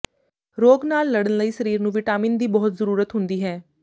ਰੋਗ ਨਾਲ ਲੜਨ ਲਈ ਸਰੀਰ ਨੂੰ ਵਿਟਾਮਿਨਸ ਦੀ ਬਹੁਤ ਜ਼ਰੂਰਤ ਹੁੰਦੀ ਹੈ